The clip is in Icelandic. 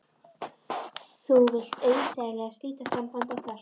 Þú vilt auðsæilega slíta sambandi okkar.